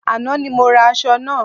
Àná ni mo ra aṣọ náà